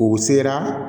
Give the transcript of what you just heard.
U sera